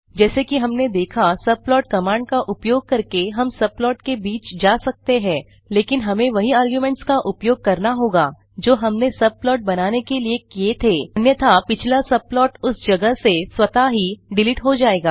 जैसे कि हमने देखा सबप्लॉट कमांड का उपयोग कर हम सबप्लॉट के बीच जा सकते हैं लेकिन हमें वही आर्गुनेंट्स का उपयोग करना होगा जो हमने सबप्लॉट बनाने के लिए किए थे अन्यथा पिछला सबप्लॉट उस जगह से स्वतः ही डिलीट हो जायेगा